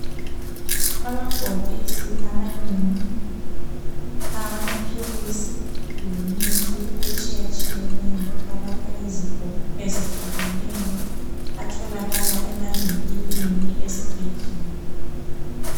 Amabhokisi amanengi awamaphilisi lemithi etshiya tshiyeneyo alapha izifo ezehlukeneyo atholakala emavinkilini esibhedlela.